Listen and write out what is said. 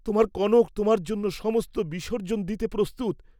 তোমার কনক তোমার জন্য সমস্ত বিসর্জ্জন দিতে প্রস্তুত।